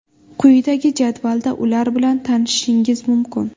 Quyidagi jadvalda ular bilan tanishishingiz mumkin.